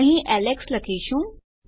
અહીં એલેક્સ લખીશું